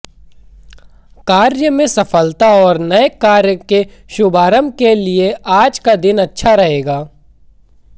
कार्य की सफलता और नए कार्य के शुभारंभ के लिए आज का दिन अच्छा रहेगा